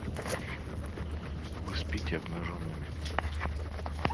вы спите обнаженными